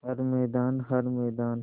हर मैदान हर मैदान